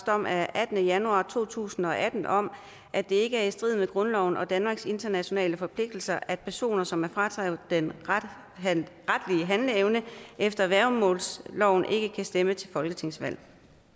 dom af attende januar to tusind og atten om at det ikke er i strid med grundloven og danmarks internationale forpligtelser at personer som er frataget den retlige handleevne efter værgemålsloven ikke kan stemme til folketingsvalg